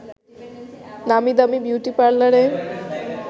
নামি-দামি beauty পার্লারে